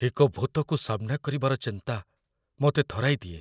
ଏକ ଭୂତକୁ ସାମ୍ନା କରିବାର ଚିନ୍ତା ମୋତେ ଥରାଇ ଦିଏ